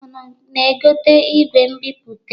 Unu na-egote igwe mbipụta?